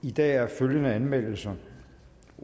i dag er der følgende anmeldelser